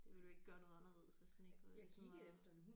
Det ville jo ikke gøre noget anderledes hvis den ikke hvis den var